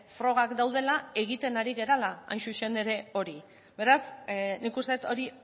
frogak daudela egiten ari garela hain zuzen ere hori beraz nik uste dut hori